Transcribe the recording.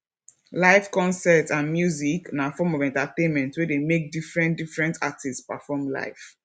live concert and music na form of entertainment wey de make different different artists perform live